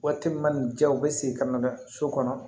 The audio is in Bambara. Waati min na ni diya u bɛ segin ka na so kɔnɔ